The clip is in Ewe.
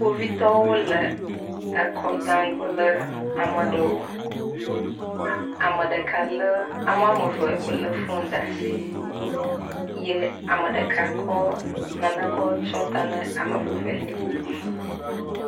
Kpovitɔwo le ekɔ dam kple ama ɖewo. Ame ɖeka lé. Ame woame ve wole fonu ɖa si. Yɛ ame ɖeka kɔ nane kɔ tsyɔ ta na ame vevelia.